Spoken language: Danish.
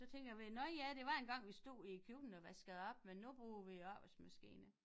Så tænker jeg ved nå ja der var engang vi stod i køkkenet og vaskede op men nu bruger vi opvaskemaskine